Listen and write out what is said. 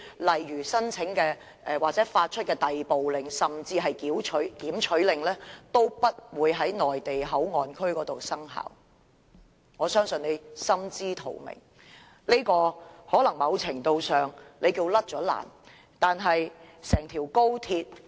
例如申請或發出的逮捕令甚至是檢取令皆不會在內地口岸區生效，我相信他也心知肚明，屆時他在某程度上已經脫險了。